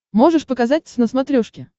можешь показать твз на смотрешке